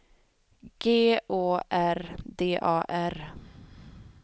G Å R D A R